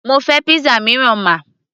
mo fẹ́ pizza mìíràn ma